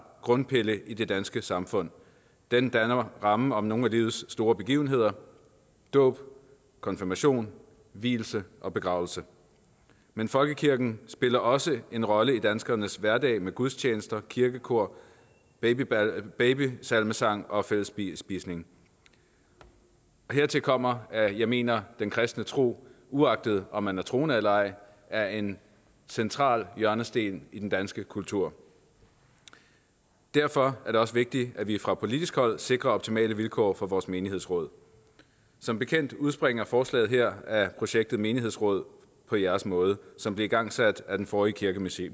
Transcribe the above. grundpille i det danske samfund den danner rammen om nogle af livets store begivenheder dåb konfirmation vielse og begravelse men folkekirken spiller også en rolle i danskernes hverdag med gudstjenester og kirkekor babysalmesang og fællesspisning hertil kommer at jeg mener den kristne tro uagtet om man er troende eller ej er en central hjørnesten i den danske kultur derfor er det også vigtigt at vi fra politisk hold sikrer optimale vilkår for vores menighedsråd som bekendt udspringer forslaget her af projektet menighedsråd på jeres måde som blev igangsat af den forrige kirkeminister